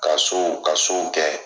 Ka ka kɛ.